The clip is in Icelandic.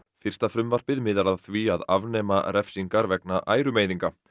fyrsta frumvarpið miðar að því að afnema refsingar vegna ærumeiðinga